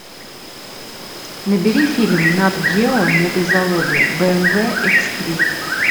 набери фильм нат гео мегазаводы бмв икс три